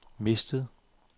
mistet